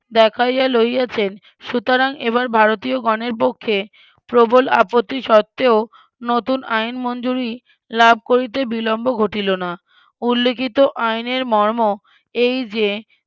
দেখাইয়া লইয়াছেন সুতরাং এবার ভারতীয় গণের পক্ষে প্রবল আপত্তি সত্তেও নতুন আইন মঞ্জুরি লাভ করিতে বিলম্ব ঘটিল না উল্লিখিত আইনের মর্ম এই যে